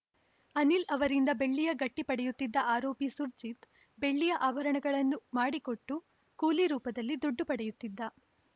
ಅನಿಲ್‌ ಅವರಿಂದ ಬೆಳ್ಳಿಯ ಗಟ್ಟಿಪಡೆಯುತ್ತಿದ್ದ ಆರೋಪಿ ಸುರ್ಜಿತ್‌ ಬೆಳ್ಳಿಯ ಆಭರಣಗಳನ್ನು ಮಾಡಿಕೊಟ್ಟು ಕೂಲಿ ರೂಪದಲ್ಲಿ ದುಡ್ಡು ಪಡೆಯುತ್ತಿದ್ದ